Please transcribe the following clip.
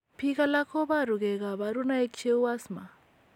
Biik alak koboru gee kabarunaik cheuu asthma